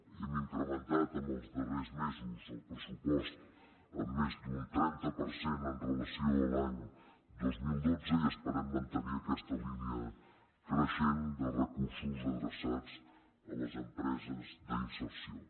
hem incrementat en els darrers mesos el pressupost en més d’un trenta per cent amb relació a l’any dos mil dotze i esperem mantenir aquesta línia creixent de recursos adreçats a les empreses d’inserció